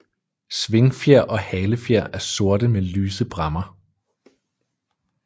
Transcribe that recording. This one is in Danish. Svingfjer og halefjer er sorte med lyse bræmmer